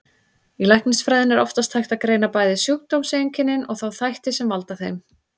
Í læknisfræðinni er oftast hægt að greina bæði sjúkdómseinkennin og þá þætti sem valda þeim.